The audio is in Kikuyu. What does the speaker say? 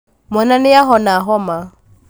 mwana nĩahona homa